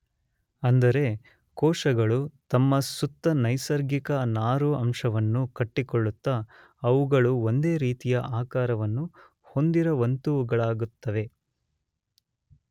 ಅಂದರೆ ಕೋಶಗಳು ತಮ್ಮ ಸುತ್ತ ನೈಸರ್ಗಿಕ ನಾರು ಅಂಶವನ್ನು ಕಟ್ಟಿಕೊಳ್ಳುತ್ತ ಅವುಗಳು ಒಂದೇ ರೀತಿಯ ಆಕಾರವನ್ನು ಹೊಂದಿರುವಂತವುಗಳಾಗುತ್ತವೆ.